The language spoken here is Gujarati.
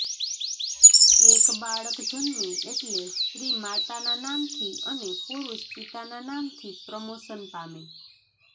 એક બાળક જન્મે એટલે સ્ત્રી માતાના નામથી અને પુરુષ પિતાના નામથી પ્રમોશન પામે